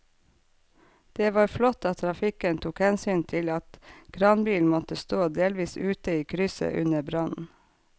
Det var flott at trafikken tok hensyn til at kranbilen måtte stå delvis ute i krysset under brannen.